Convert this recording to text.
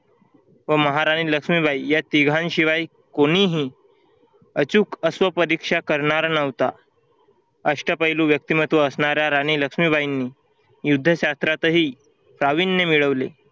व महाराणी लक्ष्मीबाई या तिघांशिवाय कोणीही अचूक अश्व परीक्षा करणार नव्हता. अष्टपैलू व्यक्तिमत्व असणाऱ्या राणी लक्ष्मीबाईंनी युद्ध शास्त्रातही प्राविण्य मिळवले.